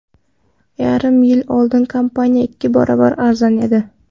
Yarim yil oldin kompaniya ikki barobar arzon edi.